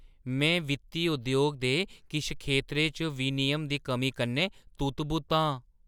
में वित्ती उद्योग दे किश खेतरें च विनियम दी कमी कन्नै तुत्त-बुत्त आं।